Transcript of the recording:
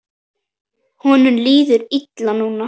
Honum líður illa núna.